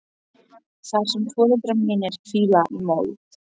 Þar sem foreldrar mínir hvíla í mold.